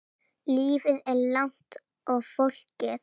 Lífið er langt og flókið.